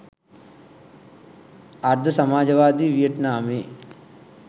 අර්ධ සමාජවාදී වියට්නාමයේ